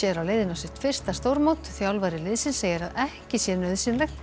á leiðinni á sitt fyrsta stórmót þjálfari liðsins segir að ekki sé nauðsynlegt